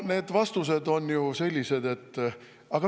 No need vastused olid ju sellised …